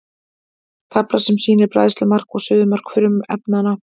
tafla sem sýnir bræðslumark og suðumark frumefnanna